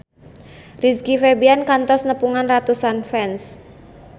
Rizky Febian kantos nepungan ratusan fans